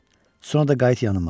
Sonra da qayıt yanıma.